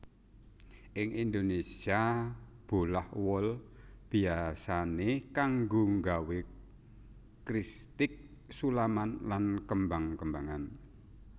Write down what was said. Ing Indonésia bolah wol biyasané kanggo nggawé kristik sulaman lan kembang kembangan